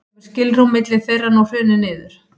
hefur skilrúm milli þeirra nú hrunið niður